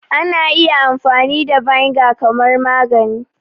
Ana iya amfani da vinegar kamar magani